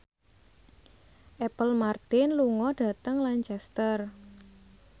Apple Martin lunga dhateng Lancaster